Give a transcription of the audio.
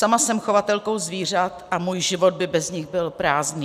Sama jsem chovatelkou zvířat a můj život by bez nich byl prázdný.